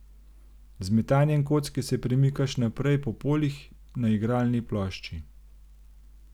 Z metanjem kocke se premikaš naprej po poljih na igralni plošči.